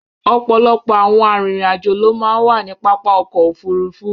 ọplopo awon arinrin ajo lo màà ń wa ni papá ọ̀kọ̀ ofúrúfú